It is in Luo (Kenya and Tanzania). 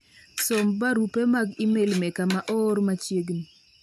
som barupe mag email meka ma oor machiegni